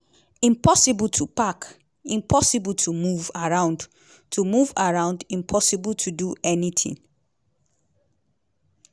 impossible to park; impossible to move around; to move around; impossible to do anytin.